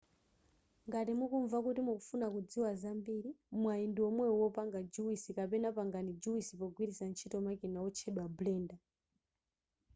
ngati mukumva kuti mufuna kudziwa zambiri mwayi ndiwomwewu wopanga juwisi kapena pangani juwisi pogwiritsa ntchito makina otchedwa blender